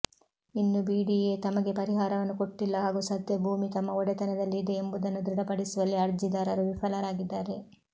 ಇನ್ನು ಬಿಡಿಎ ತಮಗೆ ಪರಿಹಾರವನ್ನು ಕೊಟ್ಟಿಲ್ಲ ಹಾಗೂ ಸದ್ಯ ಭೂಮಿ ತಮ್ಮ ಒಡೆತನದಲ್ಲಿ ಇದೆ ಎಂಬುದನ್ನು ದೃಢಪಡಿಸುವಲ್ಲಿ ಅರ್ಜಿದಾರರು ವಿಫಲರಾಗಿದ್ದಾರೆ